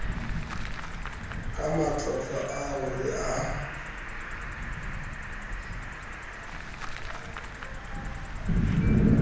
ka matlotlo ao re a